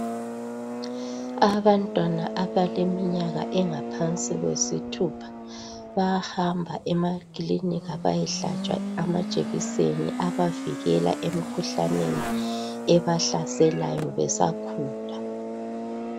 Abantwana abeleminyaka engaphansi kwesithupha bayahamba emakilinika bayehlatshwa amajekiseni abavikela emikhuhlaneni ebahlaselayo besakhula